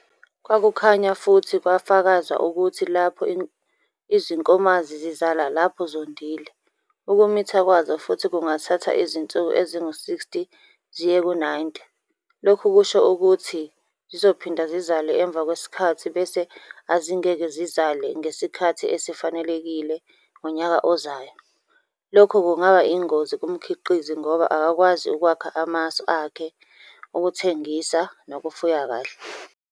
Kwakukhanya futhi kwafakazwa ukuthi lapho izinkomazi zizala lapho zondile, ukumitha kwazo futhi kungathatha izinsuku ezingu-60 ziye ku-90, lokhu kusho ukuthi zizophinda zizale emva kwesikhathi bese azingeke zizale ngesikhathi esifanelekile ngonyaka ozayo - lokhu kungaba ingozi kumkhiqizi ngoba akakwazi ukwakha amasu akhe okuthengisa nokufuya kahle.